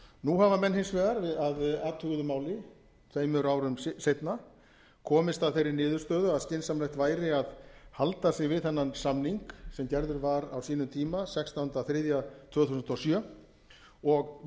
nú hafa menn hins vegar að athuguðu máli tveimur árum seinna komist að þeirri niðurstöðu að skynsamlegt væri að halda sig við þennan samning sem gerður var á sínum tíma sextánda þriðja tvö þúsund og sjö og mjólkursamninginn tuttugasta og